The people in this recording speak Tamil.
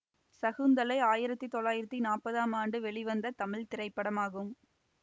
சகுந்தலை ஆயிரத்தி தொள்ளாயிரத்தி நாற்பதாம் ஆண்டு வெளிவந்த தமிழ் திரைப்படம் ஆகும்